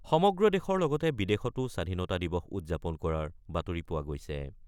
সমগ্ৰ দেশৰ লগতে বিদেশতো স্বাধীনতা দিৱস উদযাপন কৰাৰ বাতৰি পোৱা গৈছে।